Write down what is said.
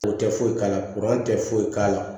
O tɛ foyi k'ala tɛ foyi k'a la